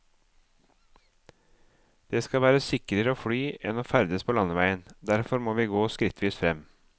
Det skal være sikrere å fly enn å ferdes på landeveien, derfor må vi gå skrittvis frem.